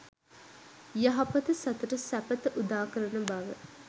යහපත සතුට සැපත උදාකරන බව